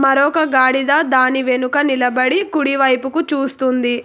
మరొక గాడిద దాని వెనుక నిలబడి కుడి వైపుకు చూస్తుంది.